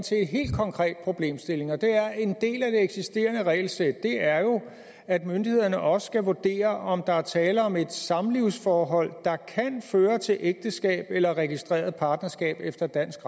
helt konkret problemstilling en del af det eksisterende regelsæt er jo at myndighederne også skal vurdere om der er tale om et samlivsforhold der kan føre til ægteskab eller registreret partnerskab efter dansk